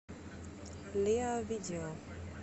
лиар видео